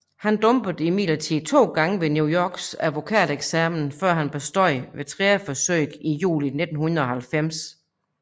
Han dumpede imidlertid to gange ved New Yorks advokateksamen før han bestod ved tredje forsøg i juli 1990